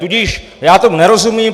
Tudíž já tomu nerozumím.